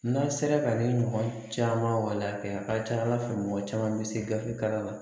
N'a' sera ka ni ɲɔgɔn caman waliya kɛ a ka ca Ala fɛ mɔgɔ caman bɛ se gafe kalan